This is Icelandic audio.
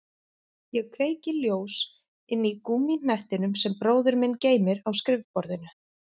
Ég kveiki ljós inní gúmmíhnettinum sem bróðir minn geymir á skrifborðinu.